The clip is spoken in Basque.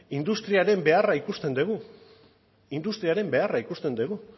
industriaren beharra ikusten dugu industriaren beharra ikusten dugu